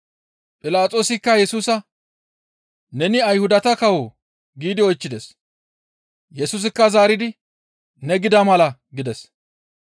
Philaxoosikka Yesusa, «Neni Ayhudata kawoo?» giidi oychchides. Yesusikka zaaridi, «Ne gida mala» gides.